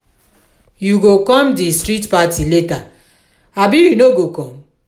you go come di street party later abi you no go come?